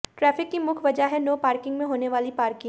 traffic की मुख्य वजह है नो पार्किंग में होनेवाली पार्किग